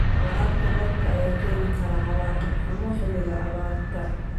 Waraabka roobka ayaa keeni kara cawaaqib xumo xilliga abaarta.